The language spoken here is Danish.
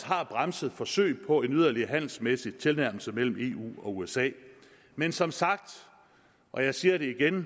har bremset forsøg på en yderligere handelsmæssig tilnærmelse mellem eu og usa men som sagt og jeg siger det igen